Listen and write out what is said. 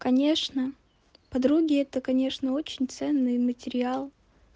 конечно подруги это конечно очень ценный материал